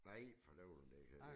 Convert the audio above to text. Nej for dælen da